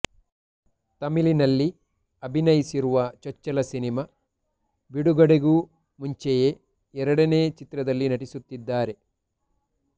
ತಮಿಳಿನಲ್ಲಿ ಅಭಿನಯಿಸಿರುವ ಚೊಚ್ಚಲ ಸಿನಿಮಾ ಬಿಡುಗಡೆಗೂ ಮುಂಚೆಯೇ ಎರಡನೇ ಚಿತ್ರದಲ್ಲಿ ನಟಿಸುತ್ತಿದ್ದಾರೆ